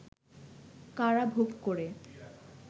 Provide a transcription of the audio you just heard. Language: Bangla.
কারাভোগ করে